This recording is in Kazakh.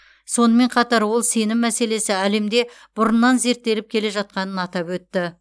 сонымен қатар ол сенім мәселесі әлемде бұрыннан зерттеліп келе жатқанын атап өтті